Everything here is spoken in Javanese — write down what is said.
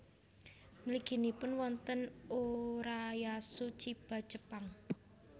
Mliginipun wonten Urayasu Chiba Jepang